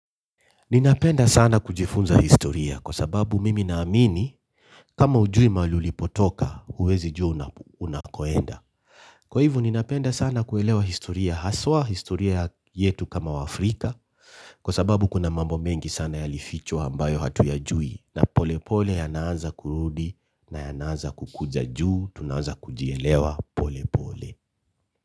Ninapenda sana kujifunza historia kwa sababu mimi naamini kama hujui mahali ulipotoka huwezi jua unakoenda. Kwa hivo ninapenda sana kuelewa historia haswa, historia yetu kama waafrika kwa sababu kuna mambo mengi sana yalifichwa ambayo hatuyajui na pole pole yanaanza kurudi na yanaanza kukuja juu, tunaanza kujielewa pole pole.